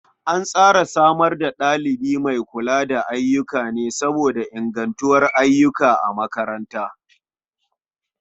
An tsara samar da ɗalibi mai kula da ayyuka ne saboda ingantuwar ayyuka a makaranta.